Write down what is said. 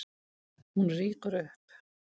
Hún rýkur upp.